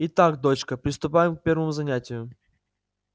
итак дочка приступаем к первому занятию